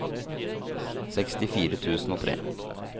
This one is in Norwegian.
sekstifire tusen og tre